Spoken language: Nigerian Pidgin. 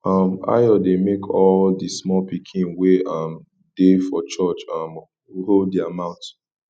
um ayo dey make all the small pikin wey um dey for church um hold their mouth